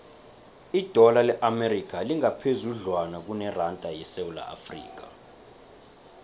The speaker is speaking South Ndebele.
idola le amerika lingaphezudlwana kuneranda yesewula afrika